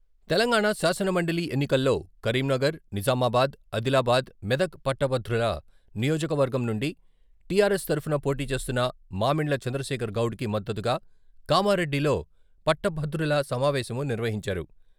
తెలంగాణ శాసనమండలి ఎన్నికల్లో కరీంనగర్ నిజామాబాద్ ఆదిలాబాద్ నియోజకవర్గం నుండి టిఆర్ఎస్ తరఫున పోటీ చేస్తున్న మామిండ్ల చంద్రశేఖర్ గౌడ్‌కి మద్దతుగా కామారెడ్డిలో ఆదిలాబాద్ మెదక్ పట్టభద్రుల సమావేశము నిర్వహించారు.